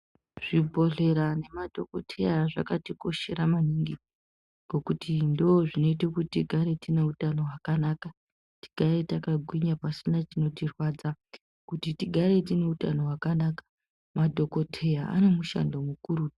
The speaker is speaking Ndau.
Zvibhedhlera nemadhogodheya zvinotikoshera maningi, ngokuti tigare tineutano hwakanaka kuti tigare takagwinya pasina chinorwadza kuti tigare tiine hutano hwakanaka. Madhogodheya ane mushando mukuru.